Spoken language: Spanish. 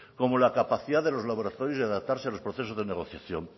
como la capacidad de los laboratorios de adaptarse a los procesos de negociación